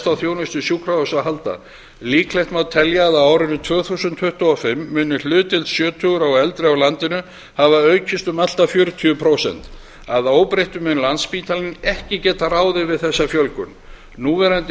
á þjónustu sjúkrahúsa að halda líklegt má telja að á árinu tvö þúsund tuttugu og fimm muni hlutdeild sjötugra og eldri á landinu hafa aukist um allt að fjörutíu prósent að óbreyttu mun landspítalinn ekki geta ráðið við þessa fjölgun núverandi